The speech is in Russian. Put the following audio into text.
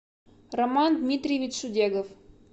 роман дмитриевич шудегов